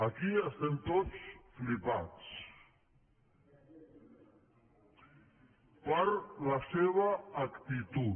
aquí estem tots flipats per la seva actitud